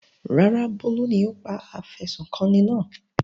Rárá, Bólú ni ó pa afẹ̀sùnkanni náà.